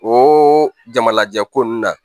O jamalajɛ ko nunnu na